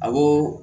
Awɔ